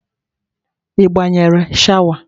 Ị gbanyere shawa?